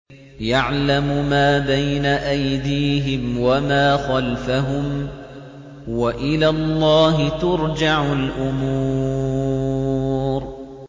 يَعْلَمُ مَا بَيْنَ أَيْدِيهِمْ وَمَا خَلْفَهُمْ ۗ وَإِلَى اللَّهِ تُرْجَعُ الْأُمُورُ